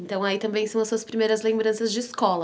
Então aí também são as suas primeiras lembranças de escola.